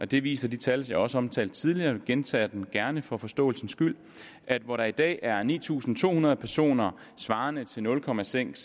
det viser de tal jeg også omtalte tidligere jeg gentager dem gerne for forståelsens skyld at hvor der i dag er ni tusind to hundrede personer svarende til nul procent